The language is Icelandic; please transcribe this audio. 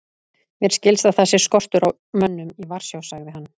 Mér skilst að það sé skortur á mönnum í Varsjá sagði hann.